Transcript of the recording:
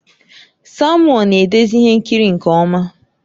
Samuel na-edezi ihe nkiri nke ọma